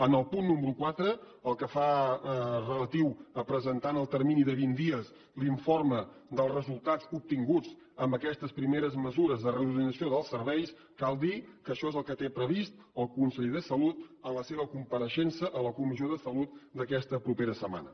en el punt número quatre relatiu a presentar en el termini de vint dies l’informe dels resultats obtinguts amb aquestes primeres mesures de reorganització dels serveis cal dir que això és el que té previst el conseller de salut en la seva compareixença a la comissió de salut d’aquesta propera setmana